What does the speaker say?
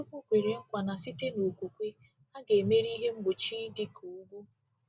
Nwachukwu kwere nkwa na site n’okwukwe, a ga-emeri ihe mgbochi dị ka ugwu.